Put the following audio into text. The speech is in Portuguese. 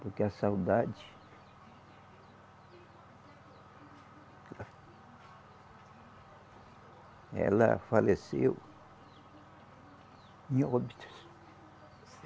Porque a saudade. Ela faleceu em Óbidos.